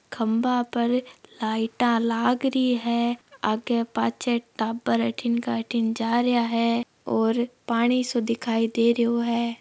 खभा है लाइट लग रही है आगे पाछे टाबर अठीने बीठन जा रहा है और पानी सो दिखाई दे रो है।